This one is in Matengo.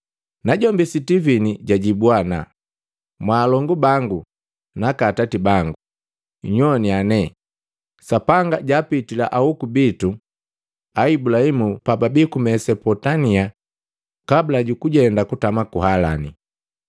Najombi Sitivini jajibwa ana, “Mwaalongu bangu naaka atati bangu, nnyowana nee! Sapanga jaapitila ahoku bitu Ibulahimu pajabii ku Mesopotamia kabula jukujenda kutama ku Halani.